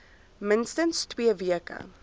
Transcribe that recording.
minstens twee weke